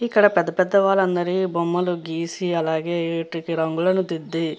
ఇక్కడ పెద్ద పెద్ద వాల బొమ్మలను గీసి అలాగే రంగులను దిద్ది --